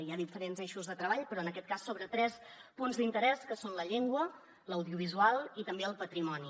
hi ha diferents eixos de treball però en aquest cas sobre tres punts d’interès que són la llengua l’audiovisual i també el patrimoni